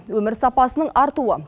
өмір сапасының артуы